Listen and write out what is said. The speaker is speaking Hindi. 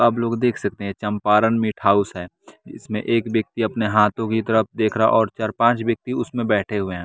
आप लोग देख सकते हैं चंपारण मीट हाउस है इसमें एक व्यक्ति अपने हाथो की तरफ देख रहा और चर पांच व्यक्ति उसमें बैठे हुए हैं।